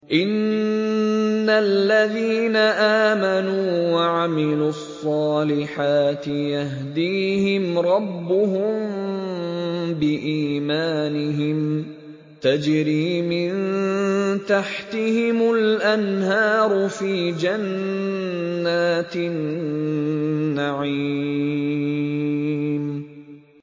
إِنَّ الَّذِينَ آمَنُوا وَعَمِلُوا الصَّالِحَاتِ يَهْدِيهِمْ رَبُّهُم بِإِيمَانِهِمْ ۖ تَجْرِي مِن تَحْتِهِمُ الْأَنْهَارُ فِي جَنَّاتِ النَّعِيمِ